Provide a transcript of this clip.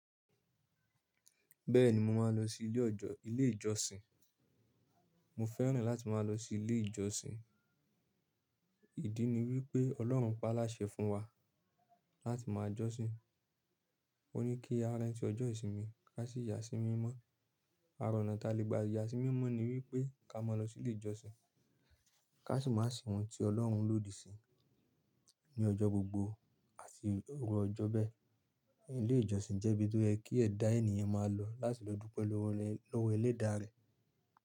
Bẹ́ẹ̀ni mo máa lọ sí ilé ìjọsìn. Mo fẹ́ràn láti máa lọ sí ilé ìjọsìn. Ìdí ni wípé Ọlọ́run pa á láṣẹ fún wa láti máa jọ́sìn. Ó ní kí a rántí ọjọ́ ìsinmi ká sì yà sí mímọ́. Àra ọ̀nà ta lè gba yà sí mímọ́ ni wípé ká má lọ sí ilé ìjọsìn. Ká sì máa se ohun tí Ọlọ́run lòdì sí ní ọjọ́ gbogbo àti iru ọjọ́ bẹ́ẹ̀. Ilé ìjọsìn jẹ́ ibi tó yekí ẹ̀dá ènìyàn máa lọ láti lọ dúpẹ́ lọ́wọ́ ẹlẹ́dàá rẹ̀.